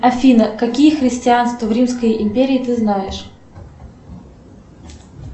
афина какие христианства в римской империи ты знаешь